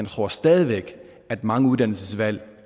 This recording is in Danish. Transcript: tror stadig væk at mange uddannelsesvalg